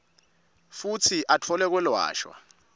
futsi atfole kwelashwa